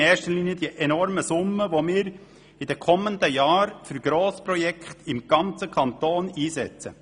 In erster Linie sind es die enormen Summen, welche wir in den kommenden Jahren für Grossprojekte im ganzen Kanton einsetzen.